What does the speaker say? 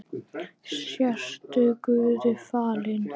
Sértu guði falin.